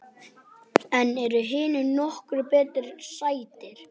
En eru hinir nokkru betur settir?